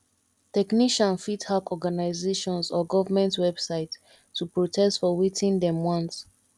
technician fit hack organisations or government websites to protest for wetin dem want